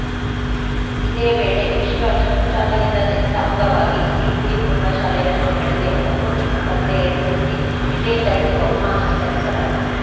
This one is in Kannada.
ಇದೇ ವೇಳೆ ವಿಶ್ವ ಶೌಚಾಲಯದ ದಿನದ ಅಂಗವಾಗಿ ದೀಪ್ತಿ ಪ್ರೌಢ ಶಾಲೆಯ ಮಕ್ಕಳಿಗೆ ರಂಗೋಲಿ ಸ್ಪರ್ಧೆ ಏರ್ಪಡಿಸಿ ವಿಜೇತರಿಗೆ ಬಹುಮಾನ ವಿತರಿಸಲಾಯಿತು